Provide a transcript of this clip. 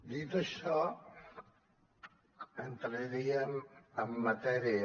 dit això entraríem en matèria